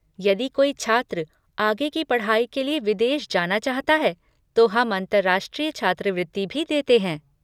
यदि कोई छात्र आगे की पढ़ाई के लिए विदेश जाना चाहता है तो हम अंतरराष्ट्रीय छात्रवृत्ति भी देते हैं।